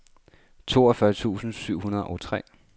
toogfyrre tusind syv hundrede og tre